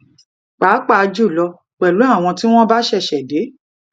pàápàá jùlọ pẹlú àwọn tí wọn bá ṣẹṣẹ dé